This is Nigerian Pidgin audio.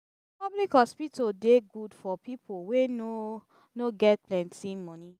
public hospital dey good for people wey no no get plenty monie.